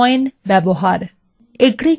aggregate function ব্যবহার